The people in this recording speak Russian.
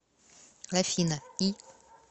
афина и